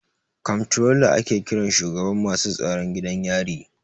Komptrola ake kiran shugaban masu tsaron gidan yari.